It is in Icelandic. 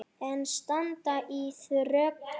En staðan er þröng.